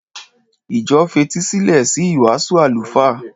Ìjọ fetísílẹ̀ sí ìwàásù àlùfáà.